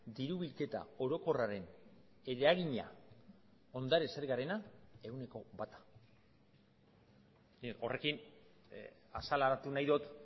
diru bilketa orokorraren eragina ondare zergarena ehuneko bata horrekin azaleratu nahi dut